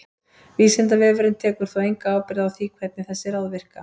Vísindavefurinn tekur þó enga ábyrgð á því hvernig þessi ráð virka.